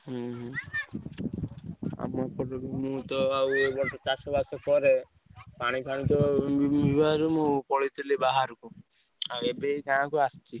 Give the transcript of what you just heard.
ହୁଁ ହୁଁ ଆଉ ମୁଁ ତ ଚାଷ ବାସ କରେ ପାଣି ଫାଣି ତ ମୁଁ ପଳେଇଥିଲି ବାହାରକୁ ଆଉ ଏବେ ଏଇ ଗାଁକୁ ଆସିଛି।